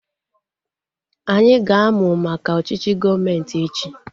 Anyị ga-amu maka ọchịchị gọọmenti echi